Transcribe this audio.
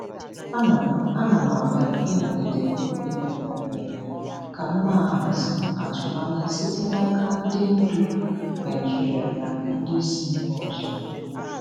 Ana m Ana m agbalị ịnọgide n'obi mepere emepe ka m na-ahazi atụmanya site n'aka ndị ndu Naịjirịa na ndị si mba ọzọ.